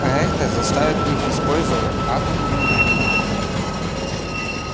а это заставит их использовать атомную энергию